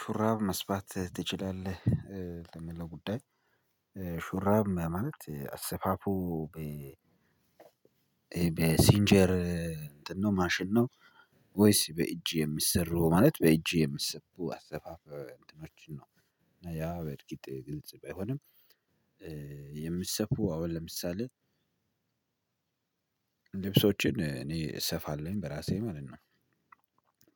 ሹራብ መስፋት ትችላለህ ለሚለው ለጉዳይ ሹራብ ማለት አሰፋፉ በሲንጀር እንትን ነው ማሽን ነው ወይስ በእጅ የሚሰሩ ማለት በእጅ የሚሰቡ አሰፋፍ እንትኖችን ነው? ያ በርግጥ ግልጽ ባይሆንም የሚሰፉ አሁን ለምሳሌ ልብሶችን እኔ እሰፋለሁኝ በራሴ ማለት ነው።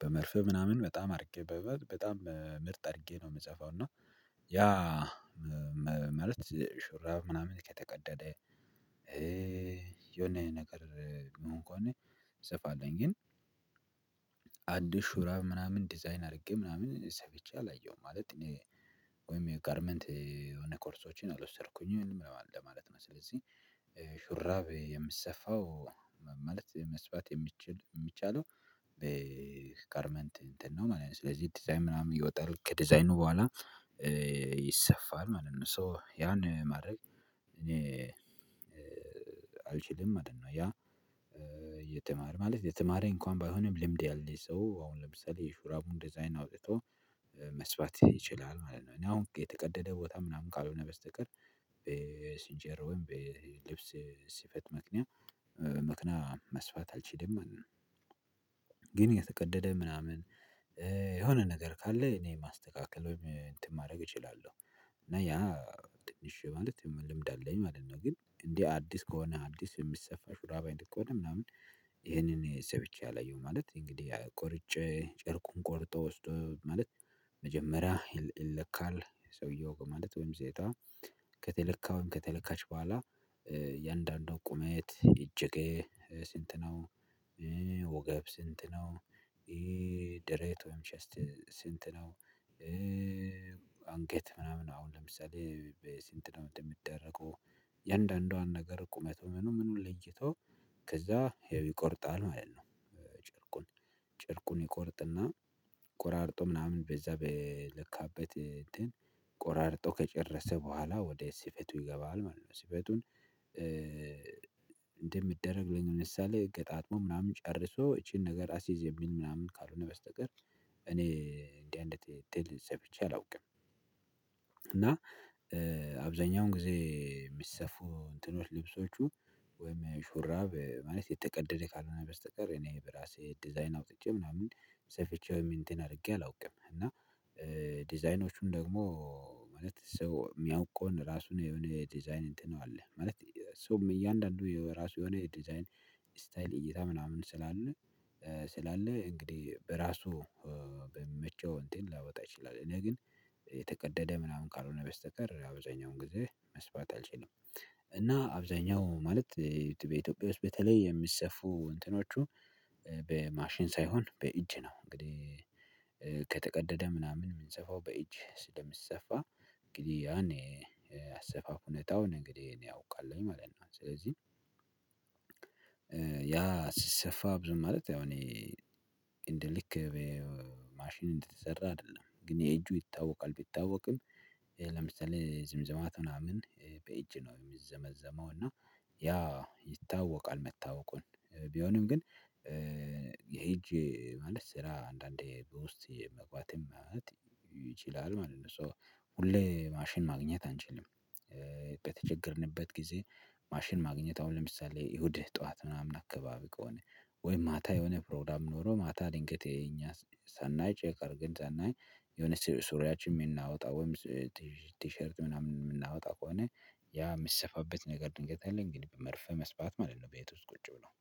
በመርፌ ምናምን በጣም አድርጌ በበት በጣም ምርጥ አድርጌ ነው የምሰፋው እና ያ ማለት ሹራብ ምናምን ከተቀደደ የሆነ ነገር ሚሆን ከሆነ እሰፋለሁኝ ግን። አንዲስ ሹራብ ምናምን ዲዛይን አድርጌ ምናምን ሰፍቼ አላየሁም ማለት እኔ ወይም የጋርመንት የሆነ ኮርሶችን አልወሰድኩኝም ለማለት ነው። ስለዚህ ሹራብ የምሰፋው ማለት መስራት የሚቻለው በጋርመንት ነው ማለት ነው ስለዚህ ዲዛይን ምናምን እያወጣሁ ከዲዛይኑ በኋላ ይሰፋል ማለት ነው። ሶ ያን ማድረግ እኔ አልችልም ማለት ነው። ያ እየተማረ ማለት የተማረ እንኳን ባይሆንም ልምድ ያለ ሰው አሁን ለምሳሌ ሹራቡን ዲዛይን አውጥቶ መስራት ይችላል ማለት ነው። እኔ አሁን የተቀደደ ቦታ ምናምን ካልሆነ በስተቀር ሲጀር ወይም ልብስ ሲፈት ምክንያት መኪና መስፋት አልችልም። ግን የተቀደደ ምናምን የሆነ ነገር ካለ እኔ ማስተካከል ወይም እንትን ማድረግ እችላለሁ። እና ያ ትንሽ ማለት ልምድ አለኝ ማለት ነው። ግን እንዲህ አዲስ ከሆነ አዲስ የሚሰፋ ሹራብ አይነት ከሆነ ምናምን ይሄንን ሰፍቼ አላየውም። ማለት እንግዲህ ቆርጬ ጨርቁን ቆርጦ ውስጡ ማለት መጀመሪያ ይለካል ሰውየው በማለት ወይም ዜጣ ከተለካ ወይም ከተለካች በኋላ የአንዳንዷ ቁመት እጅግ ስንት ነው? ወገብ ስንት ነው? ድሬቶች ስንት ነው? አንጌት ምናምን አሁን ለምሳሌ ስንት ነው የሚደረገው የእንደአንዷን ነገር ቁመት ምኑን ለይቶ ከዛ ይቆርጣል ማለት ነው። ጨርቁን ጨርቁን ይቆርጥና ቆራርጦ ምናምን በዛ በለካበት ቆራርጦ ከጨረሰ በኋላ ወደ ሲፌቱ ይገባል ማለት ነው። ሲፌቱን እንደሚደረግ ለምሳሌ ገጣጥሞ ምናምን ጨርሶ ይቺን ነገር አስይዝ የሚል ምናምን ካልሆነ በስተቀር እኔ እንዲህ አይነት እንትን ሰምቼ አላውቅም። እና አብዛኛውን ጊዜ የሚሰፉ እንትኖች ልብሶቹ ወይም ሹራብ ማለት የተቀደደ ካልሆነ በስተቀር እኔ በራሴ ዲዛይን አውጥቼ ምናምን ሰፊቼ ወይም እንትን አድርጌ አላውቅም። እና ዲዛይኖቹን ደግሞ ማለት ሰው የሚያውቀውን ራሱን የሆነ ዲዛይን እንትን አለ ማለት ሰውም እያንዳንዱ የራሱ የሆነ ዲዛይን ስታይል እይታ ምናምን ስላለ ስላለ እንግዲህ በራሱ በሚመቸው እንትን ሊያወጣ ይችላል። እኔ ግን የተቀደደ ምናምን ካልሆነ በስተቀር አብዛኛውን ጊዜ መስፋት አልችልም። እና አብዛኛው ማለት በኢትዮጵያ ውስጥ በተለይ የሚሰፉ እንትኖቹ በማሽን ሳይሆን በእጅ ነው። እንግዲህ ከተቀደደ ምናምን የምንሰፋው በእጅ ስለሚሰፋ እንግዲህ ያኔ አሰፋፍ ሁኔታውን እንግዲህ እኔ አውቃለሁኝ ማለት ነው። ስለዚህ ያ ሲሰፋ ብዙ ማለት ያው እኔ እንደ ልክ ማሽን እንደተሰራ አይደለም ግን የእጁ ይታወቃል ቢታወቅም ለምሳሌ ዝምዘማት ምናምን በእጅ ነው የሚዘመዘመው እና ያ ይታወቃል መታወቁን ቢሆንም ግን የሄ እጅ ማለት ስራ አንዳንዴ በውስጤ መግባት ይችላል ማለት ነው። ሁሌ ማሽን ማግኘት አንችልም። በተቸገርንበት ጊዜ ማሽን ማግኘት አሁን ለምሳሌ እሁድ ጠዋት ምናምን አካባቢ ከሆነ ወይም ማታ የሆነ ፕሮግራም ኖሮ ማታ ድንገት የኛ ሳናይ ቼክ አርገን ሳናይ የሆነ ሱሪያችን የምናወጣ ወይም ቲሸርት ምናምን የምናወጣ ከሆነ ያ የሚሰፋበት ነገር ድንገት ከሌለ እንግዲ በመርፌ መስፋት ማለት ነው ቤት ውስጥ ቁጭ ብሎ